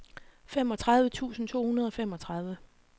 femogtredive tusind to hundrede og femogtredive